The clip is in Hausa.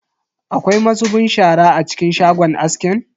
Akwai mazubin shara a cikin shagon askin?